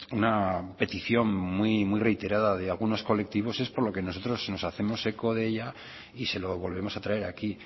una petición muy reiterada de algunos colectivos es por lo que nosotros nos hacemos eco de ella y se lo volvemos a traer aquí